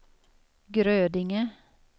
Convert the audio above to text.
Grödinge